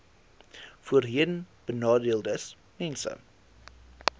voorheenbenadeeldesmense